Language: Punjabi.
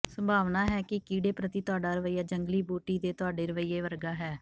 ਸੰਭਾਵਨਾ ਹੈ ਕਿ ਕੀੜੇ ਪ੍ਰਤੀ ਤੁਹਾਡਾ ਰਵੱਈਆ ਜੰਗਲੀ ਬੂਟੀ ਦੇ ਤੁਹਾਡੇ ਰਵੱਈਏ ਵਰਗਾ ਹੈ